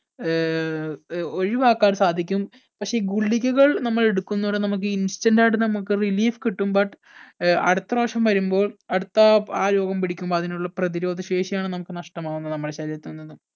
ഏർ ഒഴിവാക്കാൻ സാധിക്കും പക്ഷെ ഈ ഗുളികകൾ നമ്മൾ എടുക്കുന്നതോടെ നമ്മക്ക് ഈ instant ആയിട്ട് നമ്മക്ക് relief കിട്ടും but ഏർ അടുത്ത പ്രാവിശ്യം വരുമ്പോൾ അടുത്ത ആ രോഗം പിടിക്കുമ്പൊ അതിനുള്ള പ്രതിരോധശേഷി ആണ് നമുക്ക് നഷ്ടമാകുന്നത് നമ്മുടെ ശരീരത്തിൽ നിന്ന്